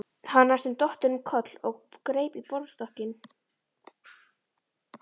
Hann var næstum dottinn um koll og greip í borðstokkinn.